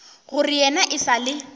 gore yena e sa le